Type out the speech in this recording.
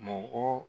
Mɔgɔ